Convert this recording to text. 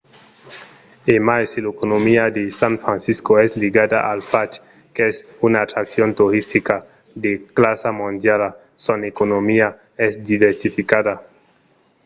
e mai se l’economia de san francisco es ligada al fach qu’es una atraccion toristica de classa mondiala son economia es diversificada